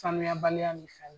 sanuya baliya misali